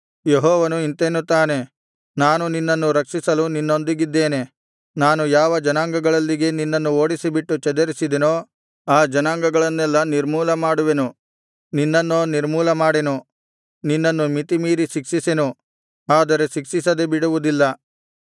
ಯೆಹೋವನು ಇಂತೆನ್ನುತ್ತಾನೆ ನಾನು ನಿನ್ನನ್ನು ರಕ್ಷಿಸಲು ನಿನ್ನೊಂದಿಗಿದ್ದೇನೆ ನಾನು ಯಾವ ಜನಾಂಗಗಳಲ್ಲಿಗೆ ನಿನ್ನನ್ನು ಓಡಿಸಿಬಿಟ್ಟು ಚದರಿಸಿದೆನೋ ಆ ಜನಾಂಗಗಳನ್ನೆಲ್ಲಾ ನಿರ್ಮೂಲಮಾಡುವೆನು ನಿನ್ನನ್ನೋ ನಿರ್ಮೂಲಮಾಡೆನು ನಿನ್ನನ್ನು ಮಿತಿಮೀರಿ ಶಿಕ್ಷಿಸೆನು ಆದರೆ ಶಿಕ್ಷಿಸದೆ ಬಿಡುವುದಿಲ್ಲ